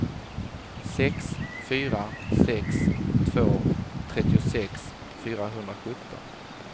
sex fyra sex två trettiosex fyrahundrasjutton